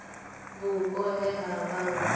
vhupo he ha vha hu